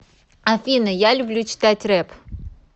афина я люблю читать реп